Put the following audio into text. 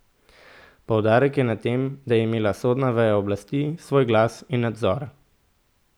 Poudarek je na tem, da je imela sodna veja oblasti svoj glas in nadzor.